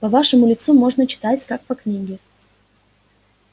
по вашему лицу можно читать как по книге